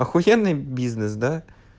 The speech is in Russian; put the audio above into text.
ахуенный бизнес да